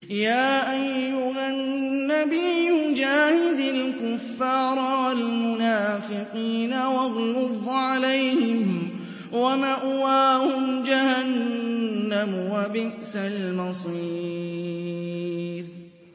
يَا أَيُّهَا النَّبِيُّ جَاهِدِ الْكُفَّارَ وَالْمُنَافِقِينَ وَاغْلُظْ عَلَيْهِمْ ۚ وَمَأْوَاهُمْ جَهَنَّمُ ۖ وَبِئْسَ الْمَصِيرُ